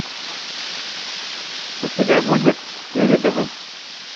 у тебя будет свиридовы